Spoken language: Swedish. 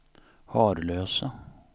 Harlösa